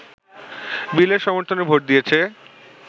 বিলের সমর্থনে ভোট দিয়েছে